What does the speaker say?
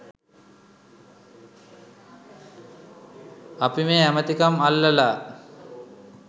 අපි මේ ඇමතිකම් අල්ලලා